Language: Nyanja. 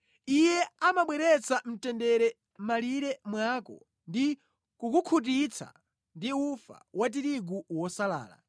Iye amabweretsa mtendere mʼmalire mwako ndi kukukhutitsa ndi ufa wa tirigu wosalala.